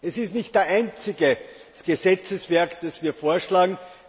Es ist nicht das einzige Gesetzeswerk, das wir vorschlagen!